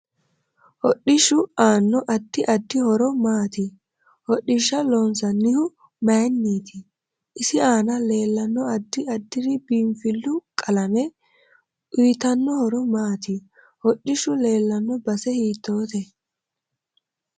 Hodhishu aano addi addi horo maati hodhisha loonsanihu mayiiniiti isi aana leelanno addi addiri biinfilu qalame uyiitanno horo maati hodhishu leelanno base hiitoote